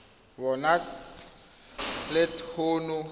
ba na le t hono